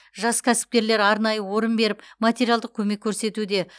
жас кәсіпкерлер арнайы орын беріп материалдық көмек көрсетуде